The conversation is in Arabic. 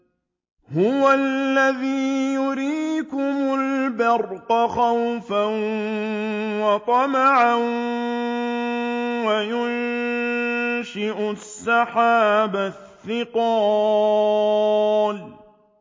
هُوَ الَّذِي يُرِيكُمُ الْبَرْقَ خَوْفًا وَطَمَعًا وَيُنشِئُ السَّحَابَ الثِّقَالَ